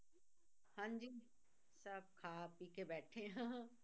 ਹਾਂਜੀ ਸਭ ਖਾ ਪੀ ਕੇ ਬੈਠੇ ਹਾਂ।